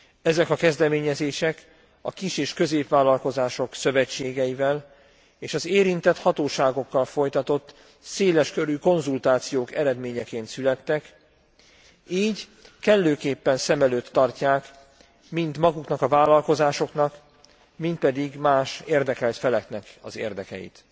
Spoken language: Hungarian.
Ezek a kezdeményezések a kis és középvállalkozások szövetségeivel és az érintett hatóságokkal folytatott széleskörű konzultációk eredményeként születtek, így kellőképpen szem előtt tartják mind maguknak a vállalkozásoknak mind pedig más érdekelt feleknek az érdekeit.